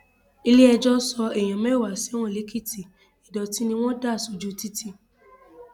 iléẹjọ sọ èèyàn mẹwàá sẹwọn lèkìtì ìdọtí ni wọn dà sójú títì